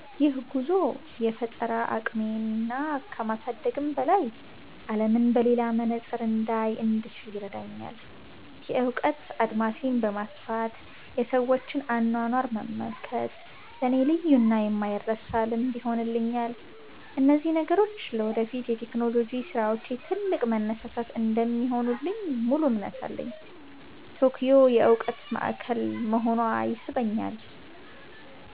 ይህ ጉዞ የፈጠራ አቅሜን ከማሳደግም በላይ፣ አለምን በሌላ መነጽር እንዳይ እንድችል ይረዳኛል። የእውቀት አድማሴን በማስፋት የሰዎችን አኗኗር መመልከት ለእኔ ልዩና የማይረሳ ልምድ ይሆንልኛል። እነዚህ ነገሮች ለወደፊት የቴክኖሎጂ ስራዎቼ ትልቅ መነሳሳት እንደሚሆኑልኝ ሙሉ እምነት አለኝ። ቶኪዮ የእውቀት ማዕከል መሆኗ ይስበኛል።